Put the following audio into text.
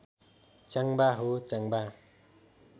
च्याङ्बा हो च्याङ्बा